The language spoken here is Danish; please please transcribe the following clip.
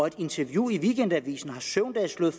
et interview i weekendavisen har søvndal slået